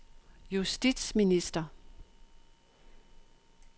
justitsminister